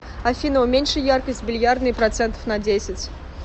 афина уменьши яркость в бильярдной процентов на десять